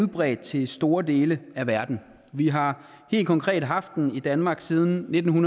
udbredt til store dele af verden vi har helt konkret haft en ombudsmand i danmark siden nitten